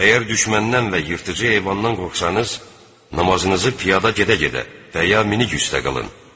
Əgər düşməndən və yırtıcı heyvandan qorxsanız, namazınızı piyada gedə-gedə və ya minik üstdə qılın.